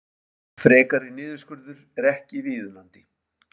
Frekari niðurskurður ekki viðunandi